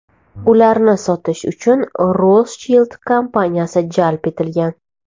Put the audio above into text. Ularni sotish uchun Rothschild kompaniyasi jalb etilgan.